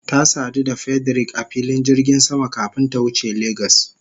Ta sadu da Frederick a filin jirgin sama kafin ta wuce Lagos.